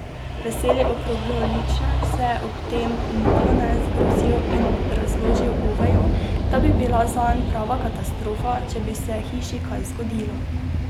Veseli okrogloličnež se je ob tem malone zgrozil in razložil Oveju, da bi bila zanj prava katastrofa, če bi se hiši kaj zgodilo.